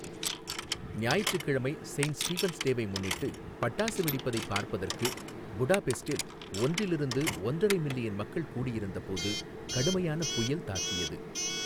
ஞாயிற்றுக்கிழமை Saint Stephen's டேவை முன்னிட்டு பட்டாசு வெடிப்பதை பார்ப்பதற்கு புடாபெஸ்டில் ஒன்றிலிருந்து ஒன்றரை மில்லியன் மக்கள் கூடியிருந்தபோது கடுமையான புயல் தாக்கியது.